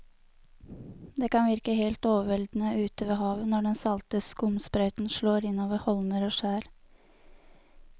Det kan virke helt overveldende ute ved havet når den salte skumsprøyten slår innover holmer og skjær.